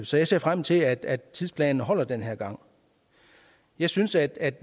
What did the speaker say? så jeg ser frem til at tidsplanen holder den her gang jeg synes at